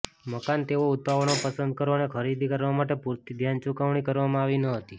મકાન તેઓ ઉતાવળમાં પસંદ કરો અને ખરીદી કરવા માટે પૂરતી ધ્યાન ચૂકવણી કરવામાં આવી નહોતી